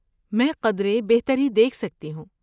میں قدرے بہتری دیکھ سکتی ہوں۔